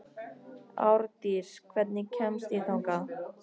Árdís, hvernig kemst ég þangað?